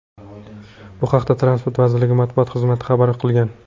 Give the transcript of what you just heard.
Bu haqda Transport vazirligi matbuot xizmati xabar qilgan .